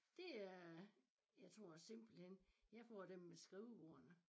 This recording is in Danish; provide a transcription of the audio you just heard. Det er jeg tror simpelthen jeg får dem med skrivebordene